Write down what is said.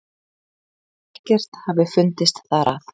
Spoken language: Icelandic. Ekkert hafi fundist þar að